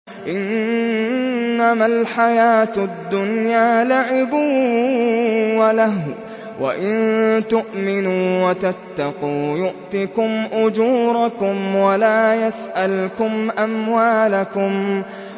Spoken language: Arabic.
إِنَّمَا الْحَيَاةُ الدُّنْيَا لَعِبٌ وَلَهْوٌ ۚ وَإِن تُؤْمِنُوا وَتَتَّقُوا يُؤْتِكُمْ أُجُورَكُمْ وَلَا يَسْأَلْكُمْ أَمْوَالَكُمْ